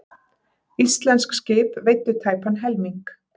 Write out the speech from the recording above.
Íslensk skip veiddu tæpan helming.